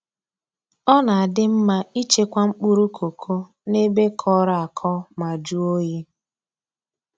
Ọ na-adị mma i chekwa mkpụrụ koko n'ebe kọrọ akọ ma jụọ oyi.